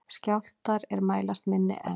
Skjálftar er mælast minni en